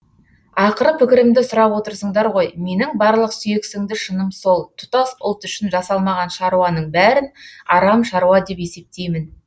ақыры пікірімді сұрап отырсыңдар ғой менің барлық сүйексіңді шыным сол тұтас ұлт үшін жасалмаған шаруаның бәрін арам шаруа деп есептеймін